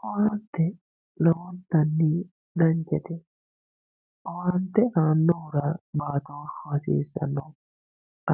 owaante lontanni danchate owaante aannohura lowontanni baatooshshu hasiisanno